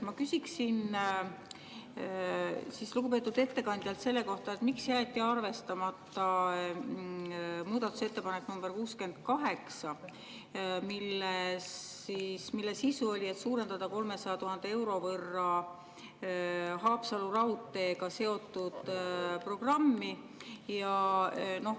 Ma küsiksin lugupeetud ettekandjalt selle kohta, miks jäeti arvestamata muudatusettepanek nr 68, mille sisu oli, et suurendada 300 000 euro võrra Haapsalu raudteega seotud programmi.